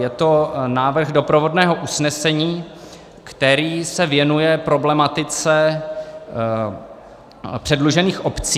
Je to návrh doprovodného usnesení, který se věnuje problematice předlužených obcí.